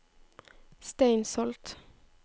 Steinsholt